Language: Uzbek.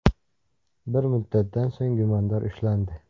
Bir muddatdan so‘ng gumondor ushlandi.